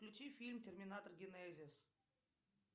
включи фильм терминатор генезис